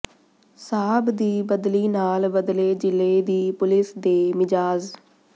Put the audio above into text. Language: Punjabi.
ਸਾਬ੍ਹ ਦੀ ਬਦਲੀ ਨਾਲ ਬਦਲੇ ਜ਼ਿਲ੍ਹੇ ਦੀ ਪੁਲਿਸ ਦੇ ਮਿਜਾਜ਼